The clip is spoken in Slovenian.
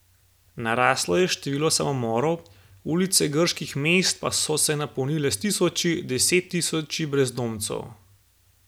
Naraslo je število samomorov, ulice grških mest so se napolnile s tisoči, deset tisoči brezdomcev.